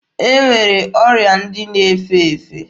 E nwere ọrịa ndị na-efe efe.